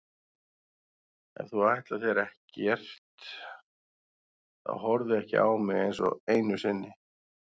Ef þú ætlar þér ekkert þá horfðu ekki á mig einsog einu sinni.